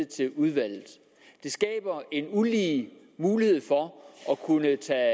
til udvalget det skaber en ulige mulighed for at kunne tage